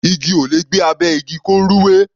Igi ò lè gbé abẹ́ igi, kó rúwé.